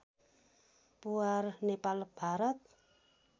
Puwar Nepal Bharat